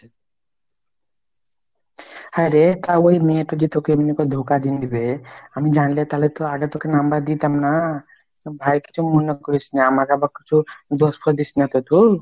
হ্যাঁ রে তা ওই মেয়েটা জি তোকে এমনি করে ধোকা দীন দিবে আমি জানলে তালে তো আগে তোকে number দিতাম না ভাই কিছু মনে করিস না, আমাকে আবার কিছু দোষ ফোঁস দিসনা তো তু?